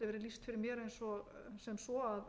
verið lýst fyrir mér sem svo að